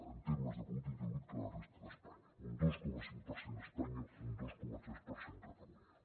en termes de producte interior brut que la resta d’espanya un dos coma cinc per cent espanya un dos coma tres per cent catalunya